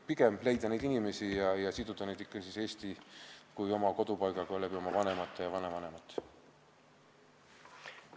Pigem tuleks leida need inimesed üles ja siduda nad Eesti kui kodupaigaga nende vanemate ja vanavanemate kaudu.